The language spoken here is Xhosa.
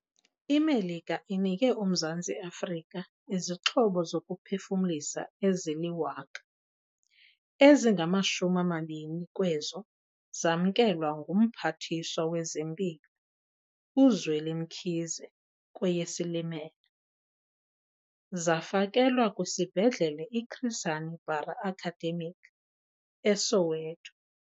IMelika inike uMzantsi Afrika izixhobo zokuphefumlisa ezili-1 000, ezingama-20 kwezo zamkelwa nguMphathiswa wezeMpilo uZweli Mkhize kweyeSilimela. Zafakelwa kwiSibhedlele i-Chris Hani Bara Academic e-Soweto.